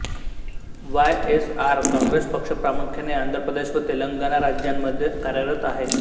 Y S R Congress पक्ष प्रामुख्याने आंध्र प्रदेश व तेलंगणा राज्यांमध्ये कार्यरत आहे